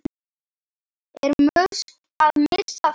Er Musk að missa það?